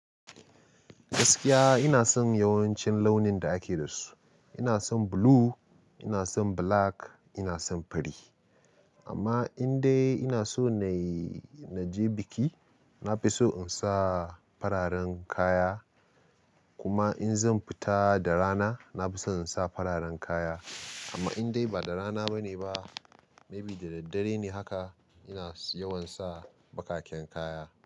Gaskiya ina son yawancin launin da ake da su. Ina son blue, ina son black, ina son fari. Amma in dai ina so na yi-- na je biki, na fi son in sa fararen kaya. Kuma in zan fita da rana, na fi so in sa fararen kaya. Amma in dai ba da rana ba ne ba, maybe da daddare ne haka, ina yawan sa bakaken kaya.